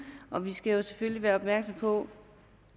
og vi skal selvfølgelig være opmærksomme på